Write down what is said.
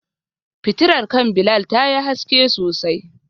Fitilar kan Bilal tayi haske sosai.